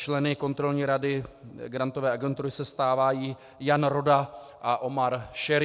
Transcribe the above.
Členy Kontrolní rady Grantové agentury se stávají Jan Roda a Omar Šerý.